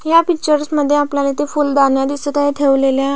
ह्या पिक्चर्स मध्ये आपल्याला इथे फुलदाण्या दिसत आहे ठेवलेल्या.